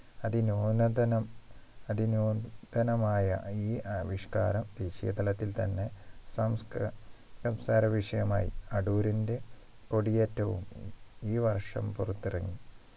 അതിനൂനതനം അതിനൂതനമായ ഈ ആവിഷ്കാരം ദേശീയതലത്തിൽ തന്നെ സംസ്ക സംസാരവിഷയമായി അടൂരിന്റെ കൊടിയേറ്റവും ഈ വർഷം പുറത്തിറങ്ങി